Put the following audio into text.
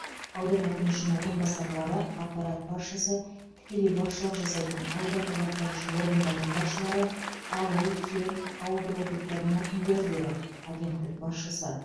аудан әкімі үшін орынбасарлары аппарат басшысы тікелей басшылық жасайтын аудандық атқарушы органдардың басшылары ауыл кент ауылдық округтардың әкімдері деді агенттік басшысы